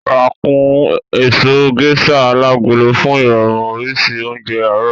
Rà kún èso Gẹ́sà alágolo fún irọrun oríṣi oúnjẹ àárọ̀